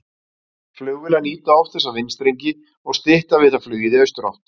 Flugvélar nýta oft þessa vindstrengi og stytta við það flugið í austurátt.